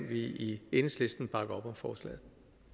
vi i enhedslisten bakke op om forslaget